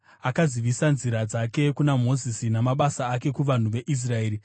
Akazivisa nzira dzake kuna Mozisi, namabasa ake kuvanhu veIsraeri: